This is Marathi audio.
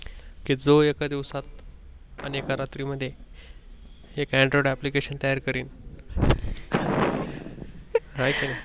कि जो एका दिवसात आणि एका रात्री मध्ये एक Android application तयार करीन. हाय कि नाही